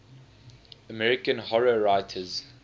american horror writers